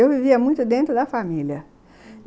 Eu vivia muito dentro da família.